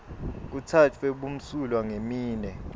kutsatfwe bumsulwa ngeminwe